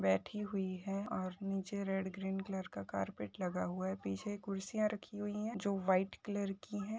बैठी हुई है और नीचे रेड ग्रीन कलर का कार्पेट लगा हुआ है पीछे कुर्सियाँ रखी हुई है जो व्हाइट कलर की है।